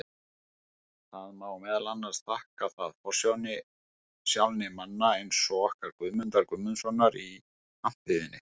Það má meðal annars þakka það forsjálni manna eins og okkar Guðmundar Guðmundssonar í Hampiðjunni.